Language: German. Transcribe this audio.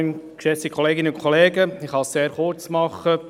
Ich kann es sehr kurz machen: